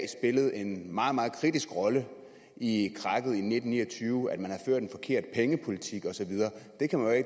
the en meget meget kritisk rolle i krakket i nitten ni og tyve man havde ført en forkert pengepolitik og så videre